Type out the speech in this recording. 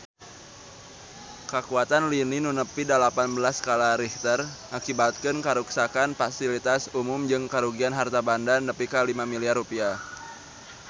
Kakuatan lini nu nepi dalapan belas skala Richter ngakibatkeun karuksakan pasilitas umum jeung karugian harta banda nepi ka 5 miliar rupiah